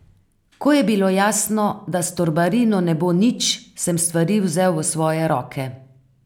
Ko je bilo jasno, da s Torbarino ne bo nič, sem stvari vzel v svoje roke.